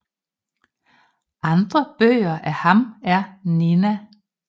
Andre bøger af ham er Nina